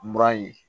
Mura ye